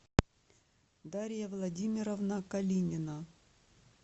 дарья владимировна калинина